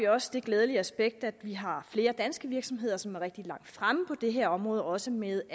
også det glædelige aspekt at vi har flere danske virksomheder som er rigtig langt fremme på det her område også med